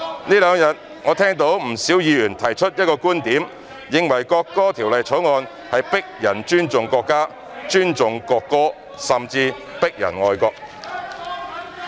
這兩天，我聽到不少議員提出一個觀點，認為《條例草案》是強迫人尊重國家、尊重國歌，甚至強迫人愛國。